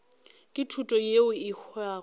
ke thuto yeo e hwago